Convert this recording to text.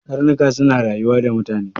Karnuka suna rayuwa da mutane.